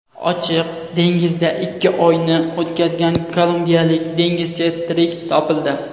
Ochiq dengizda ikki oyni o‘tkazgan kolumbiyalik dengizchi tirik topildi.